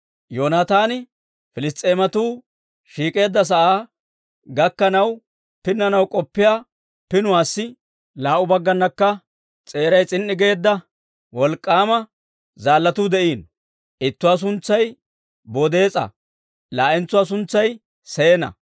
Yoonataani Piliss's'eematuu shiik'k'eedda sa'aa gakkanaw pinnanaw k'oppiyaa pinuwaassi laa"u baggaanakka s'eeray s'in"i geedda wolk'k'aama zaallatuu de'iino; ittuwaa suntsay Bodees'a; laa'entsuwaa suntsay Seena.